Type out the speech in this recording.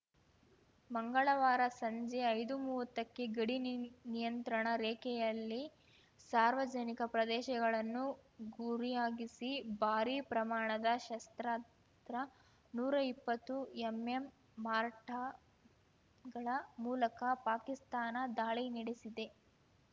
ಮಂಗಳವಾರ ಸಂಜೆ ಐದುಮೂವತ್ತಕ್ಕೆ ಗಡಿ ನಿಯ ನಿಯಂತ್ರಣ ರೇಖೆಯಲ್ಲಿ ಸಾರ್ವಜನಿಕ ಪ್ರದೇಶಗಳನ್ನು ಗುರಿಯಾಗಿಸಿ ಭಾರೀ ಪ್ರಮಾಣದ ಶಸ್ತ್ರಾತ್ರ ನೂರಾ ಇಪ್ಪತ್ತು ಎಂಎಂ ಮಾರ್ಟಗಳ ಮೂಲಕ ಪಾಕಿಸ್ತಾನ ದಾಳಿ ನಡೆಸಿದೆ